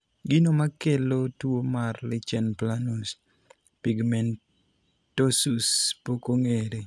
Gino makelo tuo mar lichen planus pigmentosus pok ong'ere.